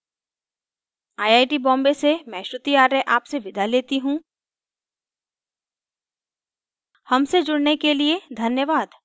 I I T Bombay से मैं श्रुति आर्य आपसे विदा लेती हूँ हमसे जुड़ने के लिए धन्यवाद